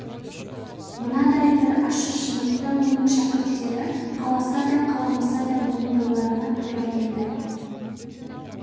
мынадай бір ащы шындықты оның шәкірттері қаласа да қаламаса да мойындауларына тура келеді